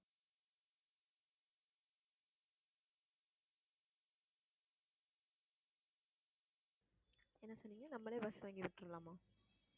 இல்ல நம்மளே bus வாங்கி விட்டுடலாமா